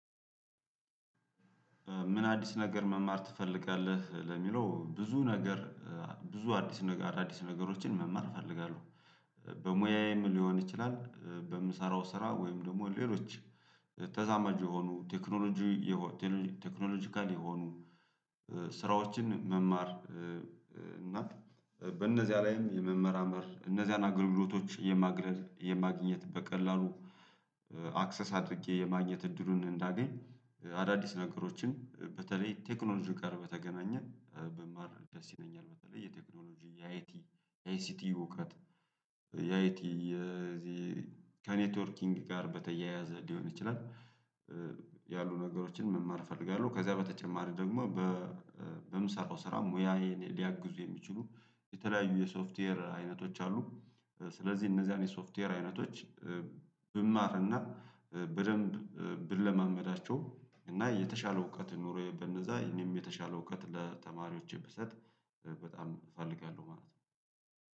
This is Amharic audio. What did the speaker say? ምን አዲስ ነገር መማር ትፈልጋለህ? ለሚለው ብዙ ነገር ብዙ አዲስ ነገር አዳዲስ ነገሮችን መማር እፈልጋለሁ። በሙያዬም ሊሆን ይችላል በምሰራው ስራ ወይም ደግሞ ሌሎች ተዛማጅ የሆኑ ቴክኖሎጂ የሆኑ ቴክኖሎጂካል የሆኑ ስራዎችን መማር እህ እና በእነዚያ ላይም የመመራመር እነዚያን አገልግሎቶች የማግለል የማግኘት በቀላሉ አክሰስ አድርጌ የማግኘት እድሉን እንዳገኝ አዳዲስ ነገሮችን በተለይ ቴክኖሎጂ ጋር በተገናኘ ብማር ደስ ይለኛል በተለይ የቴክኖሎጂ የአይቲ የአይሲቲ እውቀት የአይቲ የዚህ ከኔትወርኪንግ ጋር በተያያዘ ሊሆን ይችላል ያሉ ነገሮችን መማር እፈልጋለሁ ከዛ በተጨማሪ ደግሞ በእህ በምሰራው ስራ ሙያዬን ሊያግዙ የሚችሉ የተለያዩ የሶፍትዌር አይነቶች አሉ። ስለዚህ እነዚያን የሶፍትዌር አይነቶች ብማርና በደንብ ብለማመዳቸው እና የተሻለ እውቀት ኑሮዬ በነዛ እኔም የተሻለ እውቀት ለተማሪዎቼ ብሰጥ በጣም እፈልጋለሁ ማለት ነው።